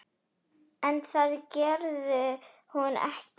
En það gerði hún ekki.